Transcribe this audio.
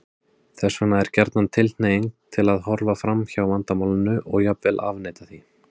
Þess vegna er gjarnan tilhneiging til að horfa fram hjá vandamálinu og jafnvel afneita því.